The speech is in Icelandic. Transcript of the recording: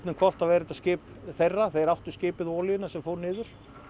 hvolft þá er þetta skip þeirra þeir áttu skipið og olíuna sem fór niður